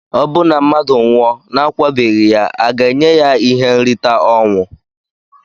Obụ na mmadu nwụọ na akwabeghi ya aga enye ya ihe nrita ọnwụ?